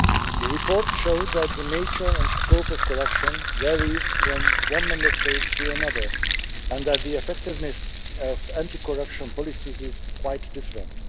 The report showed that the nature and scope of corruption varies from one Member State to another and that the effectiveness of anti corruption policies is quite different.